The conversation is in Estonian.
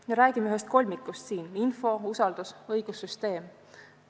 Räägime näiteks ühest kolmikust: info – usaldus – õigussüsteem.